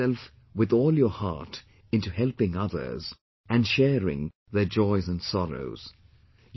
Devote yourself with all your heart into helping others and sharing their joys and sorrows